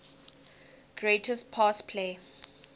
greatest pass play